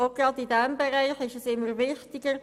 Auch in diesem Bereich wird sie immer wichtiger: